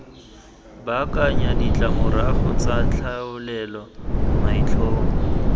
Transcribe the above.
baakanya ditlamorago tsa tlhaolele maitlhomo